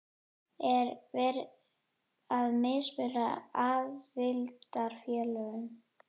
Er verið að mismuna aðildarfélögum?